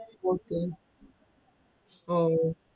report ആഹ്